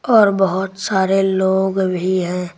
और बहुत सारे लोग भी हैं।